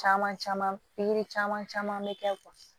Caman caman pikiri caman caman bɛ kɛ